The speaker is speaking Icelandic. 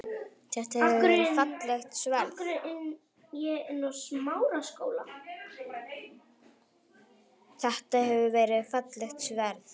Þetta hefur verið fallegt sverð?